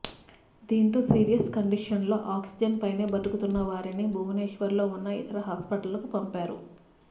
దీంతో సీరియస్ కండిషన్లలో ఆక్సిజన్ పైనే బతుకుతున్నవారిని భువనేశ్వర్ లో ఉన్న ఇతర హాస్పిటళ్లకు పంపారు